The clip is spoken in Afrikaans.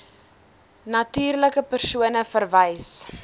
natuurlike persone verwys